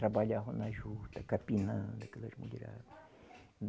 Trabalhavam na juta, capinando aquelas mulherada.